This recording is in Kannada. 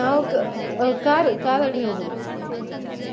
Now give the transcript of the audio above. ನಾವು car car ಅಲ್ಲಿ ಹೋಗುದು.